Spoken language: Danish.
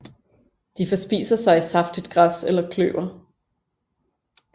De forspiser sig i saftigt græs eller kløver